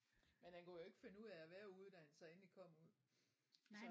Men han kunne jo ikke finde ud af at være ude da han så endelig kom ud